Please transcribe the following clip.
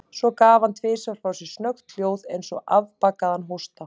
Svo gaf hann tvisvar frá sér snöggt hljóð, eins og afbakaðan hósta.